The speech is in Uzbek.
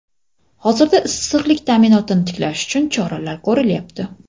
hozirda issiqlik ta’minotini tiklash uchun choralar ko‘rilyapti.